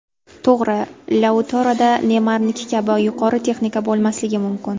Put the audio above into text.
To‘g‘ri, Lautaroda Neymarniki kabi yuqori texnika bo‘lmasligi mumkin.